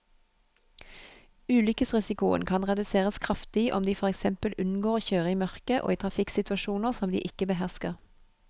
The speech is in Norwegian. Ulykkesrisikoen kan reduseres kraftig om de for eksempel unngår å kjøre i mørket og i trafikksituasjoner som de ikke behersker.